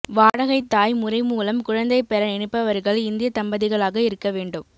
வாடகைத்தாய் முறை மூலம் குழந்தை பெற நினைப்பவர்கள் இந்திய தம்பதிகளாக இருக்க வேண்டும்